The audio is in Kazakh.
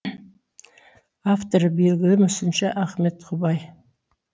авторы белгілі мүсінші ахмет құбай